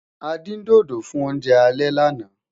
a dín dodo fún oúnjẹ alè lànà